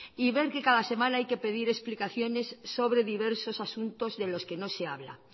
y ver que cada semana hay que pedir explicaciones sobre diversos asuntos de los que no se habla